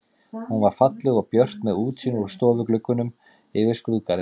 Hún var falleg og björt með útsýni úr stofugluggunum yfir skrúðgarðinn.